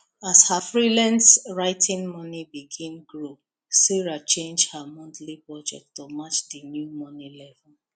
as her freelance writing money begin grow sarah change her monthly budget to match the new money level